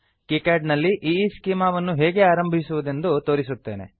KiCad ನಲ್ಲಿ Eeschema Eeschema ವನ್ನು ಹೇಗೆ ಆರಂಭಿಸುವುದೆಂದು ತೋರಿಸುತ್ತೇನೆ